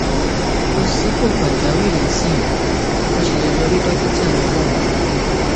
kò sí ipò pàjáwìrì nísinsìnyí o sì lè lọ rí dókítà rẹ láàárọ